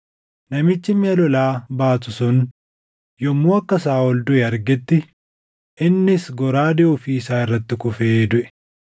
Namichi miʼa lolaa baatu sun yommuu akka Saaʼol duʼe argetti innis goraadee ofii isaa irratti kufee duʼe.